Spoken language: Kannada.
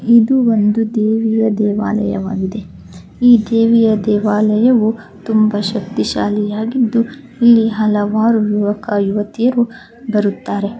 ಇದು ಒಂದು ದೇವಿಯ ದೇವಾಲಯವಾಗಿದೆ ಈ ದೇವಿಯ ದೇವಾಲಯವು ತುಂಬಾ ಶಕ್ತಿ ಶಾಲಿ ಆಗಿದ್ದು ಇಲ್ಲಿ ಹಲವಾರು ಯುವಕ ಯುವತಿಯರು ಬರುತ್ತಾರೆ .